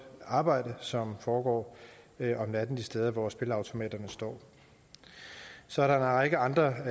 arbejde som foregår om natten de steder hvor spilleautomaterne står så er der en række andre